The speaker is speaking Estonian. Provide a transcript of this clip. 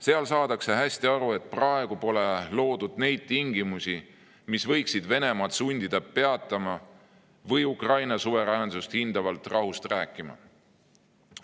Seal saadakse hästi aru, et praegu pole loodud neid tingimusi, mis võiksid sundida Venemaad peatuma või Ukraina suveräänsust hindavalt rahust rääkima.